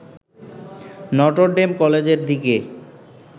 Notre Dame কলেজের দিকে